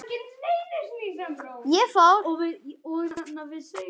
Þar kom Ísland vel út.